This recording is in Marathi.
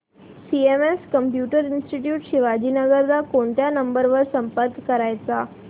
सीएमएस कम्प्युटर इंस्टीट्यूट शिवाजीनगर ला कोणत्या नंबर वर संपर्क करायचा